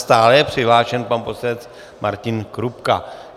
Stále je přihlášen pan poslanec Martin Kupka.